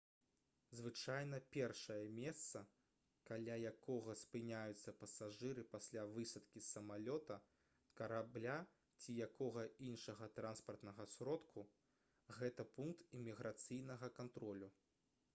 звычайна першае месца каля якога спыняюцца пасажыры пасля высадкі з самалёта карабля ці якога іншага транспартнага сродку гэта пункт іміграцыйнага кантролю